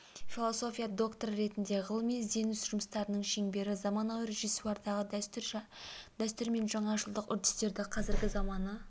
философия докторы ретінде ғылыми ізденуіс жұмыстарының шеңбері заманауи режиссурадағы дәстүр мен жаңашылдық үрдістері қазіргі заманғы